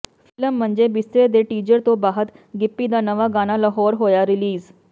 film Manje Bistre ਦੇ teaser ਤੋਂ ਬਾਅਦ ਗਿੱਪੀ ਦਾ ਨਵਾਂ ਗਾਣਾ ਲਾਹੌਰ ਹੋਇਆ ਰਿਲੀਜ਼